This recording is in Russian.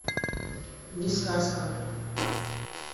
не сказка